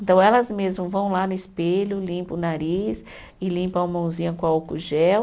Então, elas mesmas vão lá no espelho, limpam o nariz e limpam a mãozinha com álcool gel,